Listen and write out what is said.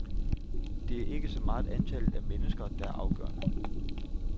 Det er ikke så meget antallet af mennesker, der er afgørende.